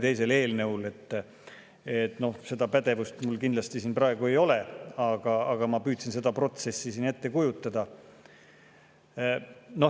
Seda pädevust mul kindlasti praegu ei ole, aga ma püüdsin seda protsessi siin ette kujutada.